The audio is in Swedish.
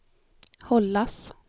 hållas